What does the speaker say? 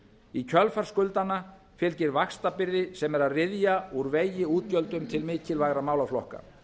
í kjölfar skuldanna fylgir vaxtabyrði sem er að ryðja úr vegi útgjöldum til mikilvægra málaflokka